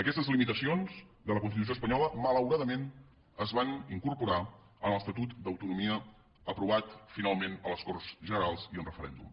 aquestes limitacions de la constitució espanyola malauradament es van incorporar en l’estatut d’autonomia aprovat finalment a les corts generals i en referèndum